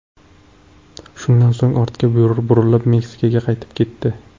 Shundan so‘ng ortga burilib, Meksikaga qaytib ketdi.